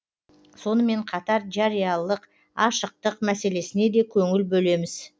сонымен қатар жариялық ашықтық мәселесіне де көңіл бөлеміз